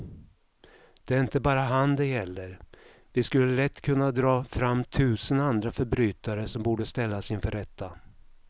Det är inte bara han det gäller, vi skulle lätt kunna dra fram tusen andra förbrytare som borde ställas inför rätta.